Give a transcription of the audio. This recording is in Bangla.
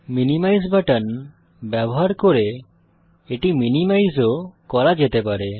মিনিমাইজ বাটন ব্যবহার করে এটি মিনিমাইজ ও করা যেতে পারে